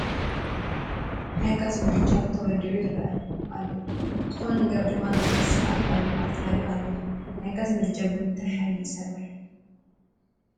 ናይ ጋዝ ምድጃ ተወሊዑ ይርአ ኣሎ፡፡ ዝኾነ ነገር ድማ ንኽበስል ኣብ ባዴላ ተዳልዩ ኣሎ፡፡ ናይ ጋዝ ምድጃ ብምንታይ ሓይሊ ይሰርሕ?